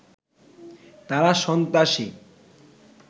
তারা সন্ত্রাসী